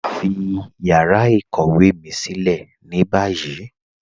Fí yàrá ìkọ̀wé mi silẹ̀ ní báyì